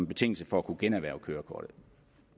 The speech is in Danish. betingelse for at kunne generhverve kørekortet